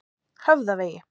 Höfðavegi